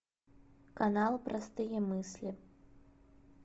канал простые мысли